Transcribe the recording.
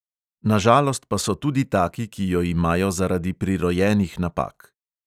Na žalost pa so tudi taki, ki jo imajo zaradi prirojenih napak.